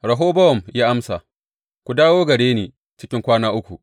Rehobowam ya amsa, Ku dawo gare ni cikin kwana uku.